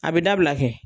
A bɛ dabila kɛ